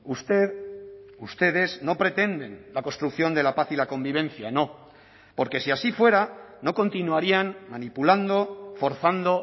usted ustedes no pretenden la construcción de la paz y la convivencia no porque si así fuera no continuarían manipulando forzando